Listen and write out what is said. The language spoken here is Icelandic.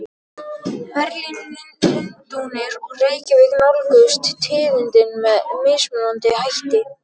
Berlín, Lundúnir og Reykjavík nálguðust tíðindin með mismunandi hætti.